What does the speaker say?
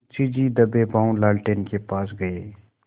मुंशी जी दबेपॉँव लालटेन के पास गए